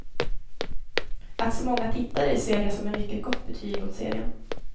Att så många tittade ser jag som ett mycket gott betyg åt serien.